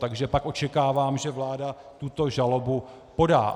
Takže pak očekávám, že vláda tuto žalobu podá.